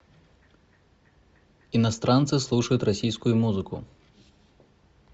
иностранцы слушают российскую музыку